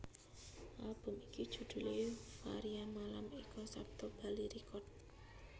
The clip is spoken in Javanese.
Album iki judhulé Varia Malam Eka Sapta Bali Records